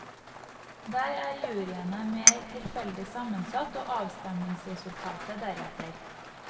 Der er juryene mer tilfeldig sammensatt, og avstemningsresultatet deretter.